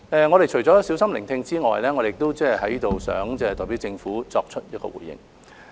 我們除了小心聆聽外，在此亦想代表政府作出回應。